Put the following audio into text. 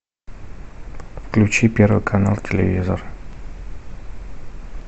включи первый канал телевизор